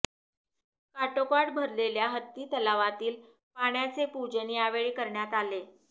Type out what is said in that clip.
काठोकाठ भरलेल्या हत्ती तलावातील पाण्याचे पुजन यावेळी करण्यात आले